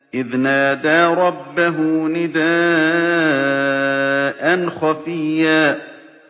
إِذْ نَادَىٰ رَبَّهُ نِدَاءً خَفِيًّا